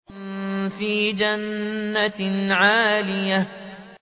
فِي جَنَّةٍ عَالِيَةٍ